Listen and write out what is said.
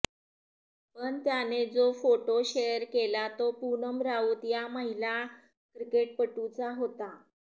पण त्याने जो फोटो शेअर केला तो पूनम राऊत या महिला क्रिकेटपटूचा होता